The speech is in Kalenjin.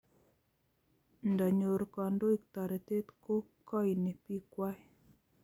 Ndanyor kandoik taretet ko kaini piik kwai